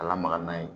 A lamaga n'a ye